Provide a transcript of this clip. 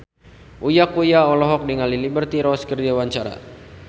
Uya Kuya olohok ningali Liberty Ross keur diwawancara